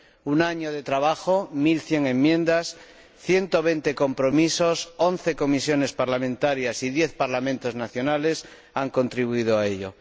Un año de trabajo, mil cien enmiendas, ciento veinte compromisos, once comisiones parlamentarias y diez parlamentos nacionales han contribuido a ello.